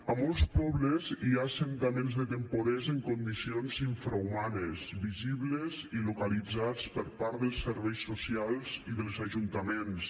a molts pobles hi ha assentaments de temporers en condicions infrahumanes visibles i localitzats per part dels serveis socials i dels ajuntaments